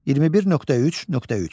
21.3.3.